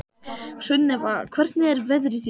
Sunnefa, hvernig er veðrið í dag?